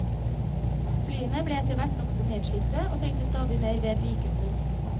Flyene ble etterhvert nokså nedslitte, og trengte stadig mer vedlikehold.